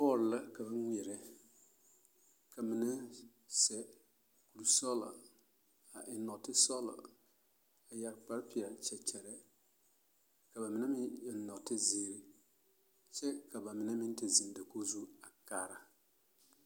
Bɔɔl la ka ba ŋmeɛrɛ ka mine seɛ kurisɔglɔ a eŋ nɔɔtesɔglɔ a yɛre kparepeɛlle check check ka ba mine meŋ eŋ nɔɔtezeere kyɛ ka ba mine meŋ te zeŋ dakogi zu a kaara.